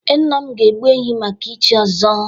Ee, nna m ga-egbu ehi maka ichi ọzọ.